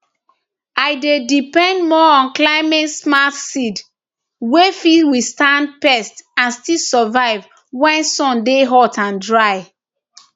i dey depend more on climatesmart seed wey fit withstand pest and still survive when sun dey hot and dry